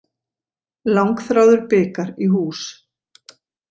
Langþráður bikar í hús